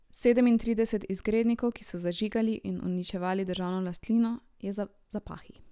Sedemintrideset izgrednikov, ki so zažigali in uničevali državno lastnino, je za zapahi.